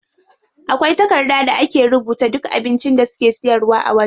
Akwai takarda da aka rubuta duk abincin da suke siyarwa a wajen.